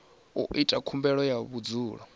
u ita khumbelo ya vhudzulo